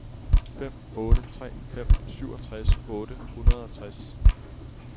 fem otte tre fem syvogtres otte hundrede og tres